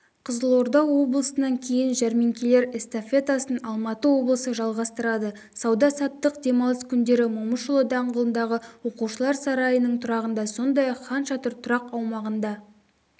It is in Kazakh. қызылорда облысынан кейін жәрмеңкелер эстафетасын алматы облысы жалғастырады сауда-саттық демалыс күндері момышұлы даңғылындағы оқушылар сарайының тұрағында сондай-ақ хан шатыр тұрақ аумағында